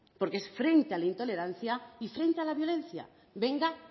porque es frente a la intolerancia y frente a la violencia venga